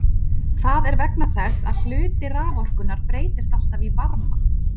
Það er vegna þess að hluti raforkunnar breytist alltaf í varma.